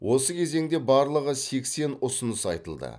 осы кезеңде барлығы сексен ұсыныс айтылды